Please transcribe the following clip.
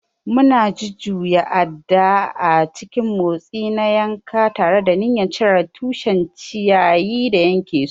Muna jujjuya adda a cikin motsi na yanka, tare da niyyar cire tushen ciyayi da yanke su.